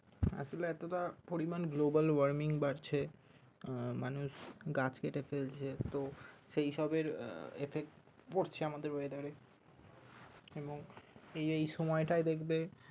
আসলে এতটা পরিমান Global warming বাড়ছে আহ মানুষ গাছ কেটে ফেলছে তো সেইসব এর Effect পড়ছে আমাদের weather এ এবং এই এই সময়টায় দেখবে